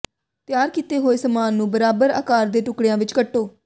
ਤਿਆਰ ਕੀਤੇ ਹੋਏ ਸਮਾਨ ਨੂੰ ਬਰਾਬਰ ਅਕਾਰ ਦੇ ਟੁਕੜਿਆਂ ਵਿੱਚ ਕੱਟੋ